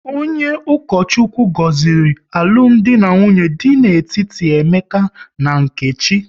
Onye Ukochukwu gọziri alụmdi na nwunye dị n'etiti Emeka na Nkechi